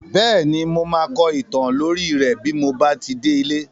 Bẹ́ẹ̀ni, mo máa kọ ìtàn lórí rẹ́ bí mo bá ti délé.